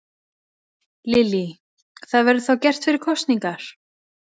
Lillý: Það verður þá gert fyrir kosningar?